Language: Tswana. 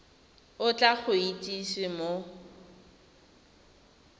o tla go itsise mo